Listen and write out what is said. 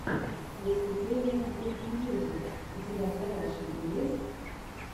выступление гуд мьюзик у тебя в загашнике есть